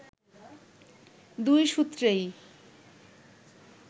দুই সূত্রেই